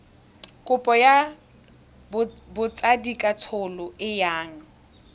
kopo ya botsadikatsholo e yang